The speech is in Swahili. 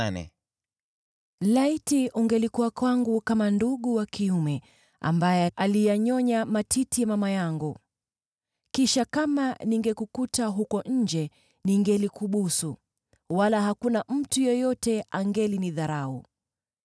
Laiti ungelikuwa kwangu kama ndugu wa kiume, ambaye aliyanyonya matiti ya mama yangu! Kisha, kama ningekukuta huko nje, ningelikubusu, wala hakuna mtu yeyote angelinidharau.